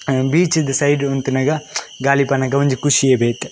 ಅ beach ದ ದ side ಉಂತುನಗ ಗಾಳಿ ಬನ್ನಗ ಒಂಜಿ ಕುಶಿಯೇ ಬೇತೆ.